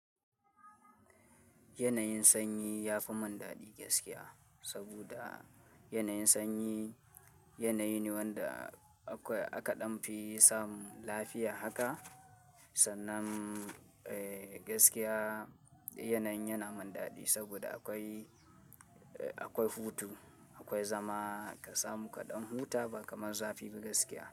Yanayin sanyi ya fi man dadi gaskiya, saboda yanayin sanyi, yanayi ne wanda akwai aka ɗan fi samun lafiya haka. Sannan, eh gaskiya yanayin yana man dadi saboda akwai, akwai hutu, akwai zama, ka samu kaɗan huta ba kamar zafi ba gaskiya.